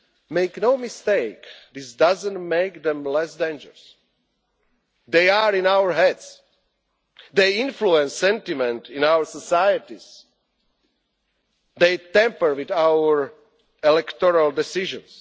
Make no mistake, this does not make them less dangerous. They are in our heads, they influence sentiment in our societies, they tamper with our electoral decisions.